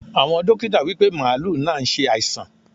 Àwọn dókítà wípé màálù náà ṣe àìsàn.